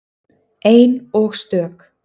Ein og stök.